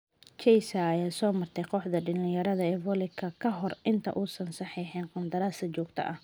Chiesa ayaa soo martay kooxda dhalinyarada ee Viola ka hor inta uusan saxiixin qandaraas joogto ah.